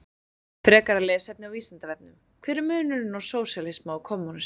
Frekara lesefni á Vísindavefnum: Hver er munurinn á sósíalisma og kommúnisma?